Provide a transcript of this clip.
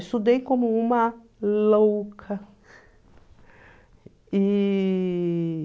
Estudei como uma louca. E...